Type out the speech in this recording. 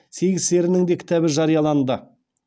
сегіз серінің де кітабы жарияланды